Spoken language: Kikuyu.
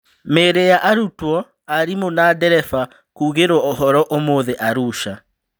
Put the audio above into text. Mĩĩrĩ ya arutwo, arimũ na dereba kugĩrwo ũhoro ũmũthĩ Arusha